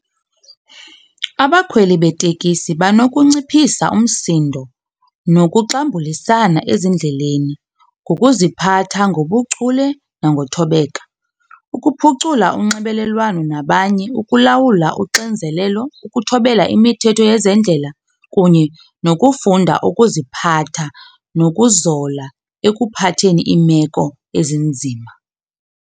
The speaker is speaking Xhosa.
Abakhweli betekisi banokunciphisa umsindo nokuxambulisana ezindleleni ngokuziphatha ngobuchule nangothobeka. Ukuphucula unxibelelwano nabanye, ukulawula uxinzelelo, ukuthobela imithetho yezendlela kunye nokufunda ukuziphatha nokuzola ekuphatheni iimeko ezinzima.